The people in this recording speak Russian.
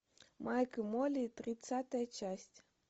майк и молли тридцатая часть